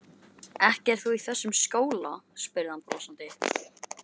Ekki ert þú í þessum skóla? spurði hann brosandi.